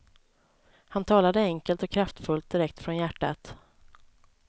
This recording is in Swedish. Han talade enkelt och kraftfullt direkt från hjärtat.